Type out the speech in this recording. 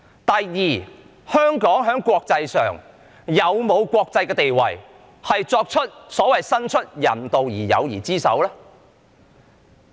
第二，香港有否國際地位伸出所謂人道的友誼之手？